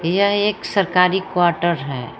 यह एक सरकारी क्वार्टर हैं।